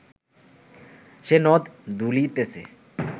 যে নথ দুলিতেছে